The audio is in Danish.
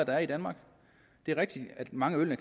er i danmark det er rigtigt at mange af